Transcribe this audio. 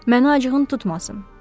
Məni acığın tutmasın.